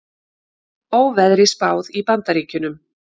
Óveðri spáð í Bandaríkjunum